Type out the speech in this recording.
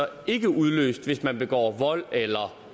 ikke udløst hvis man begår vold eller